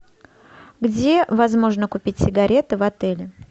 где возможно купить сигареты в отеле